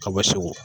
A bɛ segu